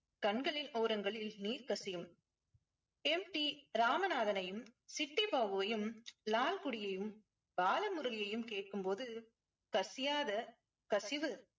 கண்களின் ஓரங்களில் நீர் கசியும். ராமநாதனையும் சிட்டிபாபுவையும் லால்குடியையும் பாலமுரளியையும் கேட்கும் போது கசியாத கசிவு